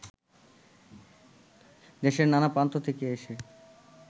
দেশের নানা প্রান্ত থেকে এসে